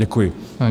Děkuji.